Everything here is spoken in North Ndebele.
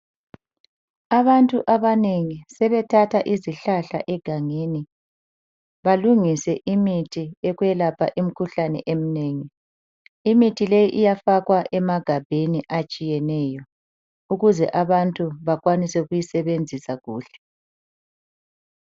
Abantu abanengi sebethatha izihlahla egangeni balungise imithi yokwelapha imkhuhlane emnengi, imithi leyi iyafakwa emagabheni atshiyeneyo ukuze abantu bakwanise ukuyisebenzisa kuhle.